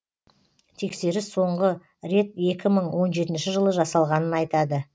тексеріс соңғы рет екі мың он жетінші жылы жасалғанын айтады